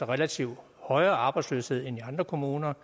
relativt højere arbejdsløshed end i andre kommuner